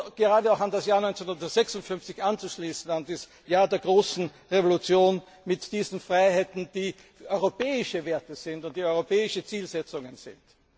Es wäre gut, gerade auch an das Jahr 1956 anzuschließen, an das Jahr der großen Revolution mit diesen Freiheiten, die europäische Werte und europäische Zielsetzungen sind.